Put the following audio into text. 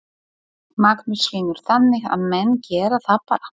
Magnús Hlynur: Þannig að menn gera það bara?